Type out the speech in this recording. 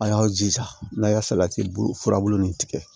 A y'aw jija n'a y'a salati furabulu nin tigɛ